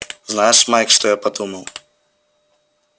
знаешь майк что я подумал